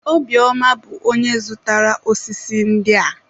Obiọma bụ onye zụrụtara ósísí ndị a.